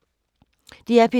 DR P2